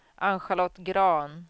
Ann-Charlotte Grahn